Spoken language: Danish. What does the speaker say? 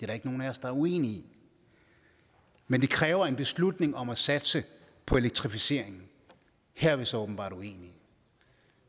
der ikke nogen af os der er uenige i men det kræver en beslutning om at satse på elektrificeringen her er vi så åbenbart uenige